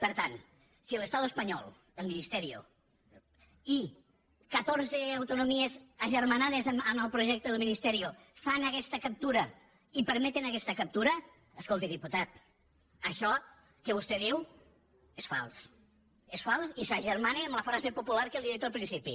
per tant si l’estado español el ministerio i catorze autonomies agermanades amb el projecte del ministerio fan aguesta captura i permeten aguesta captura escolti diputat això que vostè diu és fals és fals i s’agermana amb la frase popular que li he dit al principi